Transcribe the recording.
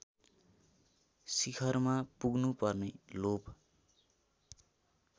शिखरमा पुग्नुपर्ने लोभ